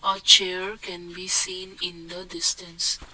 A chair can be seen in the distance.